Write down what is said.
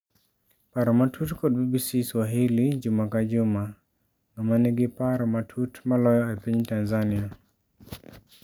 Paro matut kod BBC Swahili juma ka juma: Ng'ama nigi cparo matut maloyo e piny Tanzania?